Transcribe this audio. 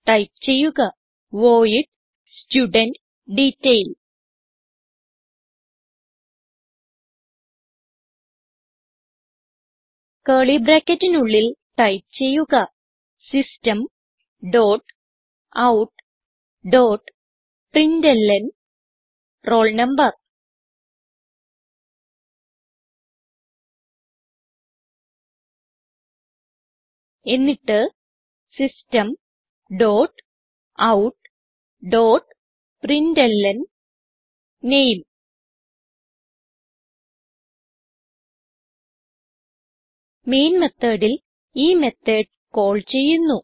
type ചെയ്യുക void studentDetail curly ബ്രാക്കറ്റിനുള്ളിൽ type ചെയ്യുക system dot out dot println roll number എന്നിട്ട് system dot out dot println name main methodൽ ഈ method call ചെയ്യുന്നു